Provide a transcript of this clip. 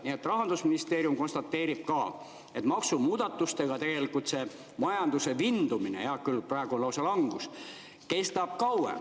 Nii et ka Rahandusministeerium konstateerib, et maksumuudatustega see majanduse vindumine – hea küll, praegu on lausa langus – kestab kauem.